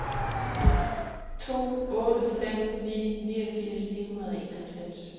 to otte fem ni niogfirs ni hundrede og enoghalvfems